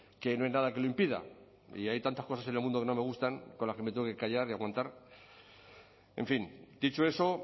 que no hay nada que lo impida y hay tantas cosas en el mundo que no me gustan con las que me tengo que callar y aguantar en fin dicho eso